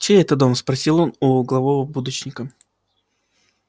чей это дом спросил он у углового будочника